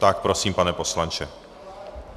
Tak, prosím, pane poslanče.